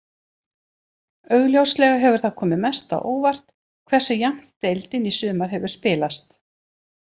Augljóslega hefur það komið mest á óvart hversu jafnt deildin í sumar hefur spilast.